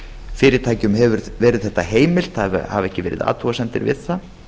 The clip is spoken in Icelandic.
fyrirtækjum hefur verið þetta heimilt það hafa ekki verið athugasemdir það